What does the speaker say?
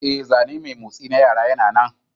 Ee, zane mai motsi na yara yana nan.